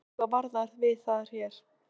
Verðið þið eitthvað varar við það hér?